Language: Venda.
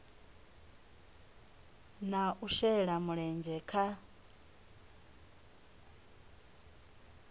na u shela mulenzhe kha